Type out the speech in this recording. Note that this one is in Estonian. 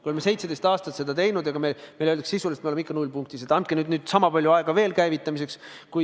Me oleme 17 aastat seda kõike teinud, aga meile öeldakse sisuliselt, et me oleme ikka nullpunktis ja andke sama palju aega veel käivitamiseks.